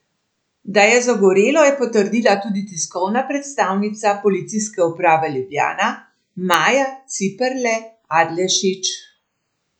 Da je zagorelo, je potrdila tudi tiskovna predstavnica Policijske uprave Ljubljana Maja Ciperle Adlešič.